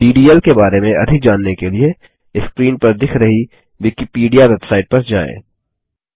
DDL के बारे में अधिक जानने के लिए स्क्रीन पर दिख रही विकिपीडिया वेबसाइट पर जाएँ